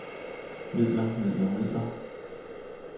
midler midler midler